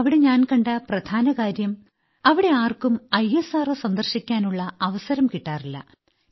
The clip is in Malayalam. അവിടെ ഞാൻ കണ്ട പ്രധാനകാര്യം അവിടെയുള്ള ആർക്കും ഇസ്രോ സന്ദർശിക്കാനുള്ള അവസരം കിട്ടാറില്ല